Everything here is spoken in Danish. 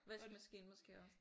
Vaskemaskine måske også?